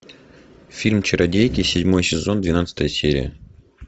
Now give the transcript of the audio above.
фильм чародейки седьмой сезон двенадцатая серия